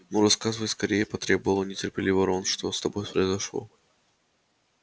ну рассказывай скорее потребовал нетерпеливо рон что с тобой произошло